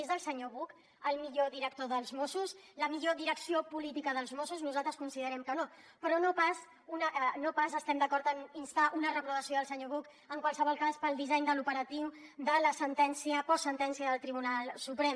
és el senyor buch el millor director dels mossos la millor direcció política dels mossos nosaltres considerem que no però no pas estem d’acord amb instar una reprovació al senyor buch en qualsevol cas pel disseny de l’operatiu de la postsentència del tribunal suprem